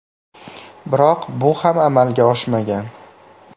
Biroq bu ham amalga oshmagan.